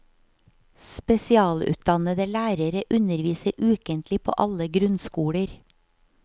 Spesialutdannede lærere underviser ukentlig på alle grunnskoler.